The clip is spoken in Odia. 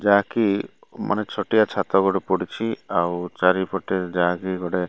ଯାହାକି ମାନେ ଛୋଟିଆ ଛାତ ଗୋଟେ ପଡ଼ିଛି ଆଉ ଚାରିପଟେ ଯାହାକି ଗୋଟେ --